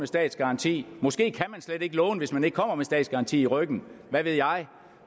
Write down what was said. statsgaranti måske kan man slet ikke låne hvis man ikke kommer med en statsgaranti i ryggen hvad ved jeg